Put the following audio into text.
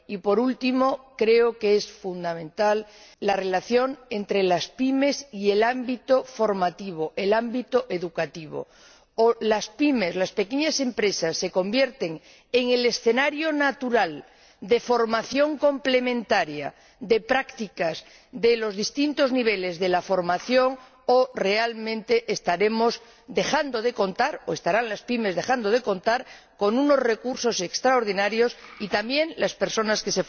Y, por último, creo que es fundamental la relación entre las PYME y el ámbito formativo, el ámbito educativo o las PYME, las pequeñas empresas, se convierten en el escenario natural de formación complementaria de prácticas de los distintos niveles de la formación, o, realmente, estaremos dejando de contar, o estarán las PYME dejando de contar con unos recursos extraordinarios, así como las personas en formación.